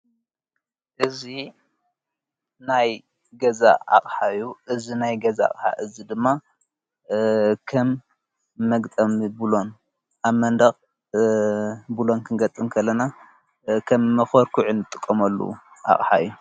እዚ ናይ ገዛ ኣቕሓ እዩ። እዚ ናይ ገዛ አቕሓ እዚ ድማ ኸም መግጠሚ ብሎን ኣብ መንደቕ ብሎን ክንገጥም ከለና ከም መኮርኩዒ ጥቆምሉ ኣቕሓ እዩ።